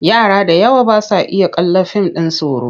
Yara da yawa ba sa iya kallon fim ɗin tsoro.